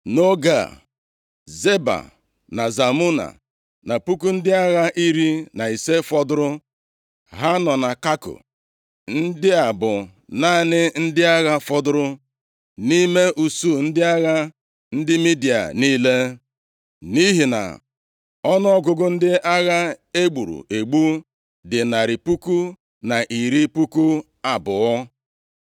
Nʼoge a, Zeba na Zalmuna na puku ndị agha iri na ise fọdụụrụ ha nọ na Kako. Ndị a bụ naanị ndị agha fọdụrụ nʼime usuu ndị agha ndị Midia niile. Nʼihi na ọnụọgụgụ ndị agha e gburu egbu dị narị puku na iri puku abụọ.